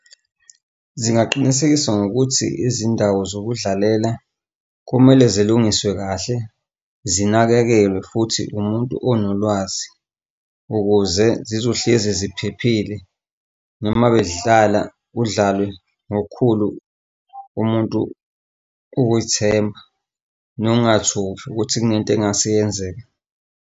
Zingaqinisekisa ngokuthi izindawo zokudlalela kumele zilungiswe kahle, zinakekelwe futhi umuntu onolwazi ukuze zizohlezi ziphephile noma bedlala kudlalwe ngokukhulu umuntu ukuy'themba nongathuki ukuthi kunento engase iyenzeke.